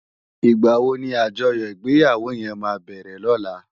Igbáwó ni ájòyò igbèyáwó yèn má bèrè lòlá?